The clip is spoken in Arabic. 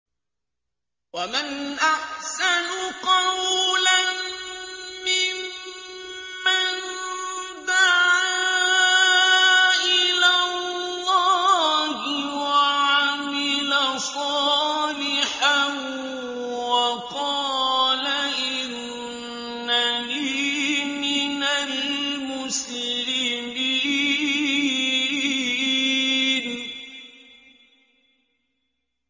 وَمَنْ أَحْسَنُ قَوْلًا مِّمَّن دَعَا إِلَى اللَّهِ وَعَمِلَ صَالِحًا وَقَالَ إِنَّنِي مِنَ الْمُسْلِمِينَ